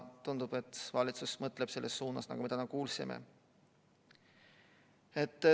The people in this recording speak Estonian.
Tundub, et valitsus mõtleb selles suunas, nagu me täna kuulsime.